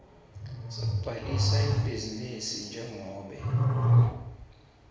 sekubhalisa ibhizinisi njengobe